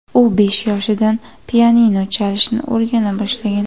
U besh yoshidan pianino chalishni o‘rgana boshlagan.